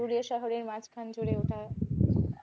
পুরুলিয়া শহরের মাঝখান জুড়ে ওটা